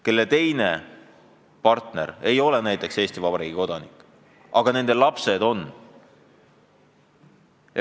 Nende perede puhul üks abikaasa ei ole Eesti Vabariigi kodanik, aga nende lapsed on.